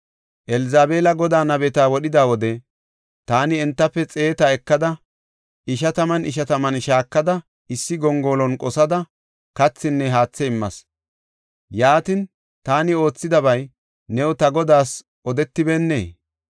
Elzabeela Godaa nabeta wodhida wode, taani entafe xeeta ekada, ishataman ishataman shaakada issi gongolon qosada, kathinne haathe immas. Yaatin, taani oothidabay new ta godaas odetibeennee?